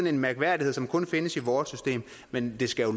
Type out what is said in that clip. en mærkværdighed som kun findes i vores system men det skal